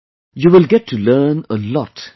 You will get to learn a lot there